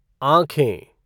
आँखें